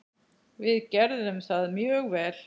Við gerðum það mjög vel.